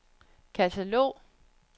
katalog